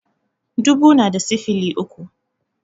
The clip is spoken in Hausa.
Dubu na da sifili uku